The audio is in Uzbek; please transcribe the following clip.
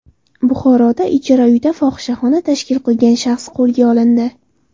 Buxoroda ijara uyda fohishaxona tashkil qilgan shaxs qo‘lga olindi.